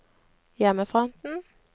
hjemmefronten